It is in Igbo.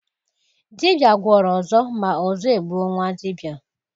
Dibịa gwọrọ ọzọ, ma ọzọ e gbuo nwa dibịa